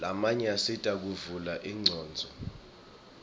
lamanye asita kuvula ingcondvo